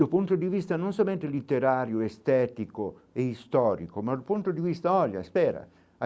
Do ponto de vista, não somente literário, estético e histórico, mas do ponto de vista, olha, espera.